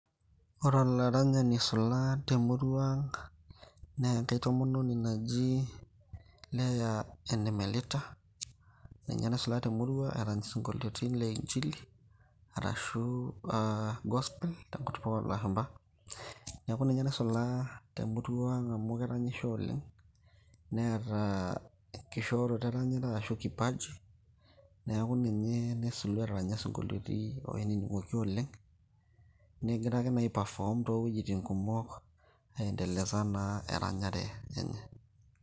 Ore olaranyani oisula temurua ang',na enkae tomononi naji Leah Ene Melita, ninye naisula temurua erany isinkolioitin le inchili, arashu gospel tenkutuk olashumpa. Neeku ninye naisula temurua ang' amu keranyisho oleng'. Neeta enkishooroto eranyare ashu kipaji ,neeku ninye naisulua etaranya sinkolioiti oinining'oki oleng',negira ake nai ai perform towueiting kumok, aiendeleza naa eranyare enye.